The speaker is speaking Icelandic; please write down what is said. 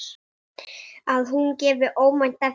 Lítill, svartur bíll.